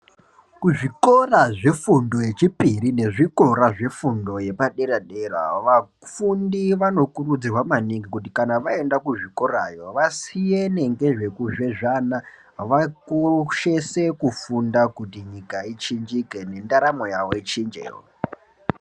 Kuzvikora zvefundo yechipiri nezvikora zvefundo yepadera-dera, vafundi vanokurudzirwa maningi kuti kana vaenda kuzvikorayo vasiyene zvekuzvezvana, vakoshese kufunda kuti nyika ichinjike, nendaramo yavo ichinjewo.